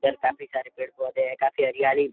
इधर काफी सारे पेड़-पौधे है। काफी हरियाली --